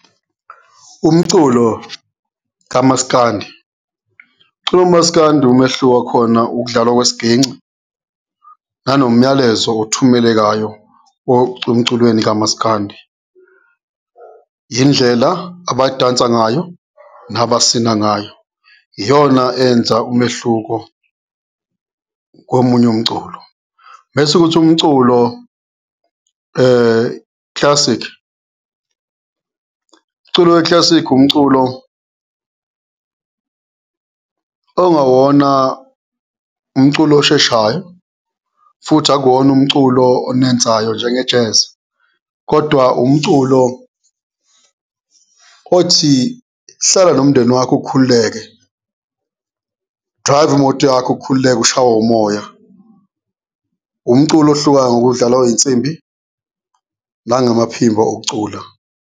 Umculo kamaskandi, umculo womaskandi umehluko khona ukudlalwa kwesiginci nanomyalezo othumelekayo emculweni kamaskandi, indlela abadansayo ngayo nabasina ngayo iyona enza umehluko komunye umculo. Mese kuthi umculo classic, umculo we-classic umculo okungawona umculo osheshayo futhi akuwona umculo onensayo njenge-jazz kodwa umculo othi hlala nomndeni wakho ukhululeke, drayiva imoto yakho ukhululeke ushawe umoya, umculo ohlukayo ngokudlalwa kwey'nsimbi nangamaphimbo okucula.